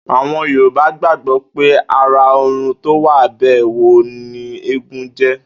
Àwo̩n Yorùbá gbàgbó̩ pé ará ò̩run tó wá bè̩ wó̩n wò ni eégún jé̩